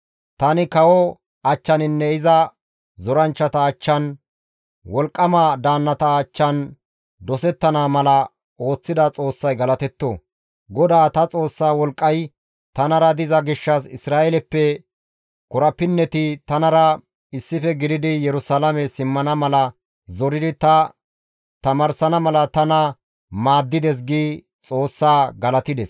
Tani kawo achchaninne iza zoranchchata achchan, wolqqama daannata achchan dosettana mala ooththida Xoossay galatetto. GODAA ta Xoossa wolqqay tanara diza gishshas Isra7eeleppe korapinneti tanara issife gididi Yerusalaame simmana mala zoridi ta tamaarsana mala tana maaddides» gi Xoossaa galatides.